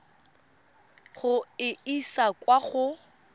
go e isa kwa go